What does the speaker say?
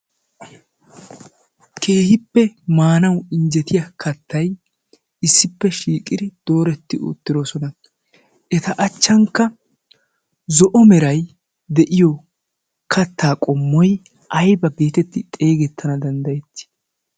keehippe maanawu injjetiya kattay issippe shiiqiri dooretti oottiroosona eta achchankka zo'o meray de'iyo kattaa qommoy ayba geetetti xeegettana danddayetti